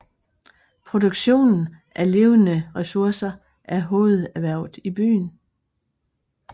Produktion af levende ressourcer er hovederhvervet i byen